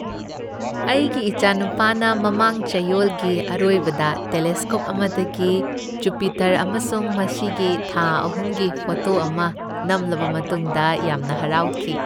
ꯑꯩꯒꯤ ꯏꯆꯥꯅꯨꯄꯥꯅ ꯃꯃꯥꯡ ꯆꯌꯣꯜꯒꯤ ꯑꯔꯣꯏꯕꯗ ꯇꯦꯂꯦꯁꯀꯣꯞ ꯑꯃꯗꯒꯤ ꯖꯨꯄꯤꯇꯔ ꯑꯃꯁꯨꯡ ꯃꯁꯤꯒꯤ ꯊꯥ ꯑꯍꯨꯝꯒꯤ ꯐꯣꯇꯣ ꯑꯃ ꯅꯝꯂꯕ ꯃꯇꯨꯡꯗ ꯌꯥꯝꯅ ꯍꯔꯥꯎꯈꯤ ꯫